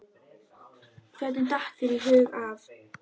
Hvernig datt þér í hug að.